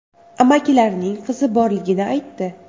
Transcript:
Amakilarining qizi borligini aytdi.